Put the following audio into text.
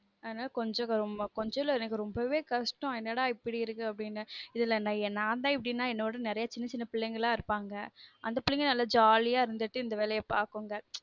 அதுனால கொஞ்ச கொஞ்சமில எனக்கு ரொம்பவே கஷ்டம் என்னடா இப்டி இருக்கு அப்டினு இதுல் நான் தான் இப்டினா என்னோட நெரய சின்ன சின்ன பிள்ளைங்கலா இருப்பாங்க அந்த பிள்ளைங்க நல்லா jolly ஜாலியா இருந்துட்டு இந்த வேலய பாக்குங்க